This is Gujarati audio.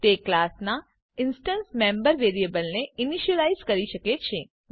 તે ક્લાસના ઇન્સટન્સ મેમ્બર વેરિયેબલને ઈનીશ્યલાઈઝ કરી શકે છે